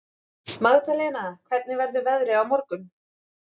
Magdalena, hvernig verður veðrið á morgun?